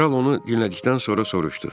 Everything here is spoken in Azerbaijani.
Kral onu dinlədikdən sonra soruşdu: